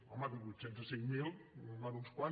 home de vuit cents a cinc mil en van uns quants